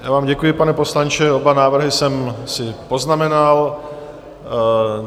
Já vám děkuji, pane poslanče, oba návrhy jsem si poznamenal.